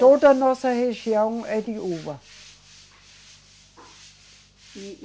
Toda a nossa região é de uva.